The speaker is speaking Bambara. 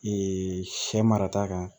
sɛ marata kan